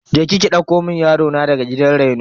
Je ki ki ɗauko mun yaro na daga gidan reno.